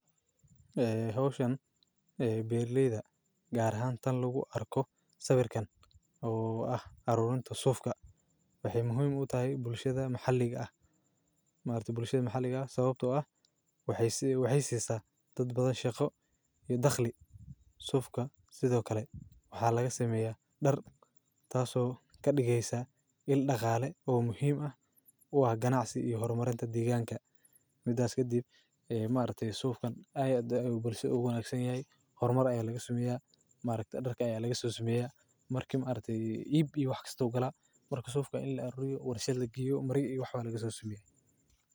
Eeh, ocean ee baarlleyda gaar ahaan tan lagu arko sawirkan oo ah caruurinta suufka waxay muhiim u tahay bulshada maxalliga ah. Ma arday bulshada maxalliga ah sababtoo ah waxay sii waxay siisa dad badan shaqo iyo dakhli suufka. Sidoo kale waxaa laga sameeyaa dharka taasoo ka dhigaysa il dhakhaale oo muhiim ah waa ganaacsatay iyo horumarinta deegaanka. Midaas ka dib, ee ma arday suufkan ayaa bulsho u aqoonsanyahay. Hormaro ayaa laga sameeyaa, maariktu dharka ayaa laga soo saameeyaa, markim aragtay iib iyo wax kasta oo kala duw. Marka suufkan in la riyow warshaad laga giyo mari iyo waxba laga soo saameeyay.